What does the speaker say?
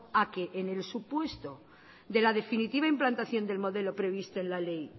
a que en el supuesto de la definitiva implantación del modelo previsto en la ley